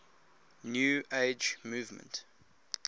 new age movement